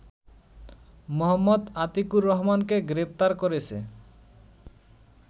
মো. আতিকুর রহমানকে গ্রেপ্তার করেছে